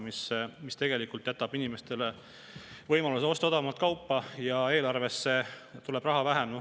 See tegelikult annab inimestele võimaluse osta odavamat kaupa ja eelarvesse tuleb raha vähem.